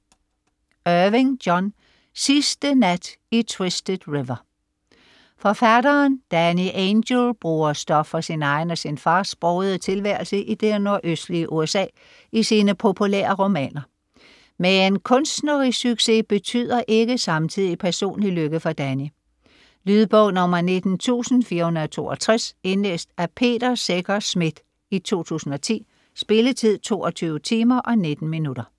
Irving, John: Sidste nat i Twisted River Forfatteren Danny Angel bruger stof fra sin egen og sin fars brogede tilværelse i det nordøstlige USA i sine populære romaner. Men kunstnerisk succes betyder ikke samtidig personlig lykke for Danny. Lydbog 19462 Indlæst af Peter Secher Schmidt, 2010. Spilletid: 22 timer, 19 minutter.